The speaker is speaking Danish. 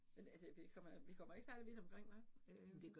Men altså vi kommer, vi kommer ikke særlig vidt omkring hva? Øh